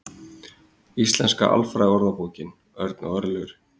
Íslenska alfræðiorðabókin. Örn og Örlygur.